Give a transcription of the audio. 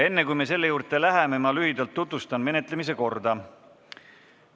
Enne, kui me selle juurde läheme, tutvustan lühidalt menetlemise korda.